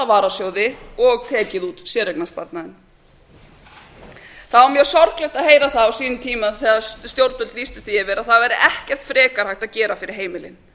varasjóði og tekið út séreignasparnaðinn það var mjög sorglegt að heyra það á sínum tíma þegar stjórnvöld lýstu því yfir að það væri ekkert frekar hægt að gera yfir heimilin